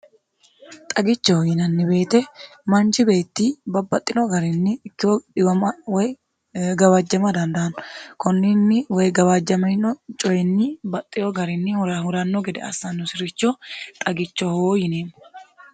xagichoho yinanni beete manji beetti babbaxxino garinni ikkiho dhiwama woy gawaajjama dandaanno kunninni woy gawaajjamino coyinni baxxino garinni hurahuranno gede assaannosi'richo xagicho hoo yineemmo